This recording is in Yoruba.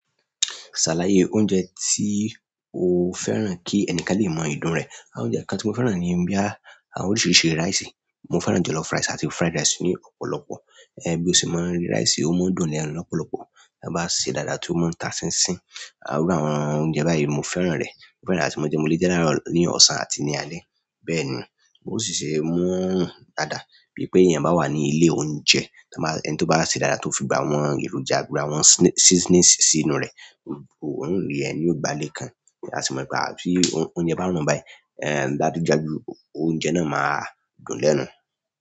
Ṣàlàyé oúnjẹ tí o fẹ́ràn kí ẹnìkan lè mọ ìdun rẹ̀. Àwọn oúnjẹ kan tí mo fẹ́ràn ni bóyá àwọn oríṣiríṣi ráisì. Mo fẹ́ràn jollof rice àti fried rice ní ọ̀pọ̀lọpọ̀. Ẹ̀ bí o ṣe máa ń rí rice, ó máa ń dùn lẹ́nu lọ́pọ̀lọpọ̀. Tán bá sè é dáadáa tí ó máa ń ta sínsìn. Àwọn irú àwọn oúnjẹ báyìí mo fẹ́ràn rẹ̀. Mo fẹ́ràn àti máa jẹ́ mo le jẹ́ ni àárọ̀, ní ọ̀sán àti ní alẹ́. Bẹ́ẹ̀ni, mo ṣẹ̀ ṣè mú dáadáa. Bí i pé èèyàn bá wà ní ilé oúnjẹ, ẹni tí ó bá ṣe dáadáa tí ó fi gbogbo àwọn èròjà, gbogbo àwọn seasoning sínú rẹ̀, òóhùn rí ẹ ní ìgbàlẹ́ kan. Àti mo gbà pé bí oúnjẹ bá rùn báyìí, ẹ̀ lágúnjágún oúnjẹ náà máa dùn lẹ́nu.